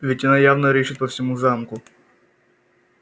ведь она явно рыщет по всему замку